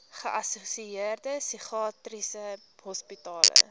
geassosieerde psigiatriese hospitale